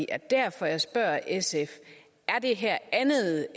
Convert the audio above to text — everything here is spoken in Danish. er derfor jeg spørger sf er det her andet